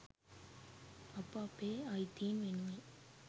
අප අපේ අයිතීන් වෙනුවෙන්